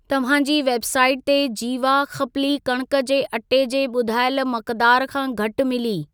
तव्हां जी वेबसाइट ते जीवा खप्ली कणक जे अटे जे ॿुधायल मक़दार खां घटि मिली।